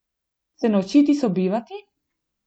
Se naučiti sobivati?